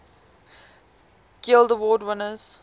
guild award winners